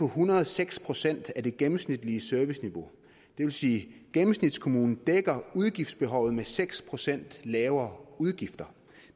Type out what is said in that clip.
hundrede og seks procent af det gennemsnitlige serviceniveau det vil sige at gennemsnitskommunen dækker udgiftsbehovet med seks procent lavere udgifter